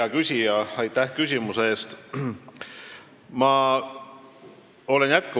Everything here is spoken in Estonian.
Hea küsija, aitäh küsimuse eest!